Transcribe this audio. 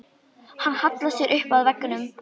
Hann hallar sér upp að vegg.